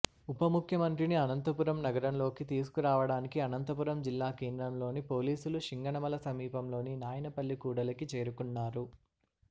ఉప ముఖ్యమంత్రిని అనంతపురం నగరంలోకి తీసుకు రావడానికి అనంతపురం జిల్లా కేంద్రంలోని పోలీసులు శింగనమల సమీపంలోని నాయనపల్లి కూడలికి చేరుకున్నారు